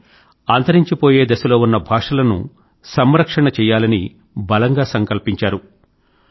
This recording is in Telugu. అంటే అంతరించిపోయే దిశలో ఉన్న భాషలను సంరక్షణ చేయాలని బలంగా సంకల్పించారు